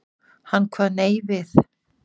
Hann kvað nei við.